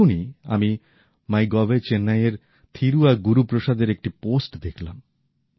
এক্ষুনি আমি মাই গভএ চেন্নাইএর থিরু আর গুরুপ্রসাদের একটী পোস্ট দেখলাম